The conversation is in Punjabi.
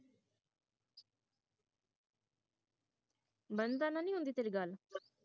ਬੰਧਨ ਨਾਲ ਨੀ ਹੁੰਦੀ ਤੇਰੀ ਗੱਲ